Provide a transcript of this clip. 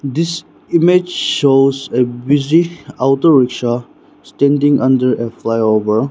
this image shows a busy auto rickshaw standing under a flyover.